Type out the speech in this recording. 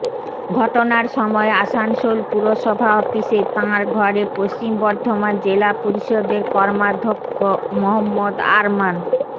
ঘটনার সময় আসানসোল পুরসভা অফিসে তাঁর ঘরে পশ্চিম বর্ধমান জেলা পরিষদের কর্মাধ্যক্ষ মহম্মদ আরমান